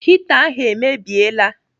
Hita ahụ emebiela.